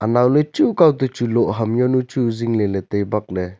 naole chu kaoto chu loh ham yaonu chu zingley ley tai bak ley.